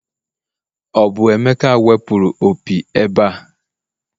o bu emeka wepuru opi ebe a?